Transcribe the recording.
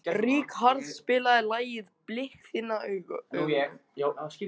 Ríkharð, spilaðu lagið „Blik þinna augna“.